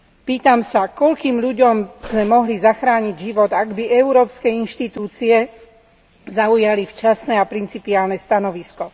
Pýtam sa, koľkým ľuďom sme mohli zachrániť život, ak by Európske inštitúcie zaujali včasné a principiálne stanovisko.